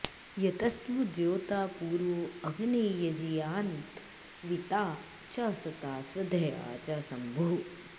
यस्त्वद्धोता॒ पूर्वो॑ अग्ने॒ यजी॑यान्द्वि॒ता च॒ सत्ता॑ स्व॒धया॑ च श॒म्भुः